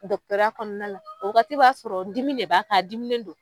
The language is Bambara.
kɔnɔna la o wagati b'a sɔrɔ dimi de b'a kan a dimi don.